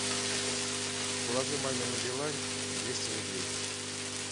положи маме на билайн двести рублей